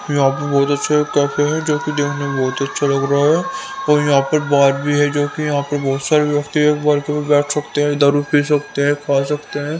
यहां पर बहुत अच्छा कैफे है जो कि देखने में बहुत ही अच्छा लग रहा है और यहां पर बार भी है जो कि यहां पर बहुत सारे व्यक्ति एक बार के बैठ सकते हैं दारू पी सकते हैं खा सकते हैं।